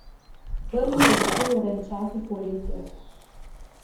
Prvi je začel renčati Poletje.